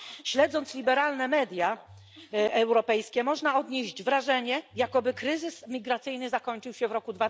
Śledząc liberalne media europejskie można odnieść wrażenie, jakoby kryzys migracyjny zakończył się w roku